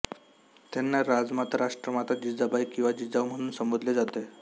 त्यांना राजमाता राष्ट्रमाता जिजाबाई किंवा जिजाऊ म्हणून संबोधले जाते